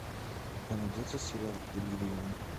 у тебя найдется сериал делириум